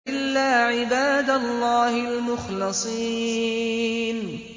إِلَّا عِبَادَ اللَّهِ الْمُخْلَصِينَ